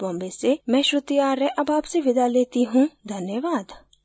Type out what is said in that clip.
यह स्क्रिप्ट बिंदु पांडे द्वारा अनुवादित है आईआईटी बॉम्बे से मैं श्रुति आर्य अब आपसे विदा लेती हूँ धन्यवाद